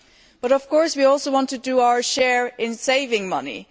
But of course we also want to do our share in saving money.